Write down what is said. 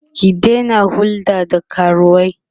ki Daina hulɗa da karuwai!